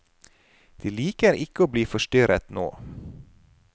De liker ikke å bli forstyrret nå.